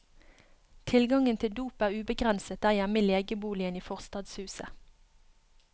Tilgangen til dop er ubegrenset der hjemme i legeboligen i forstadshuset.